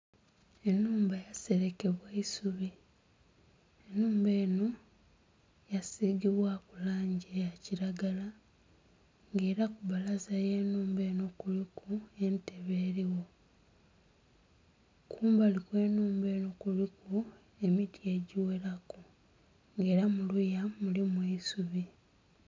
Ennhumba yaselekebwa isubi. Ennhumba enho yasiigibwaku langi ya kiragala, ng'ela ku bbalaza y'ennhumba kuliku entebe eliwo. Kumbali kw'ennhumba enho kuliku emiti egiwelaku ng'ela mu luya mulimu eisubi.